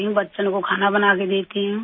بچوں کو کھانا بناکر دیتی ہوں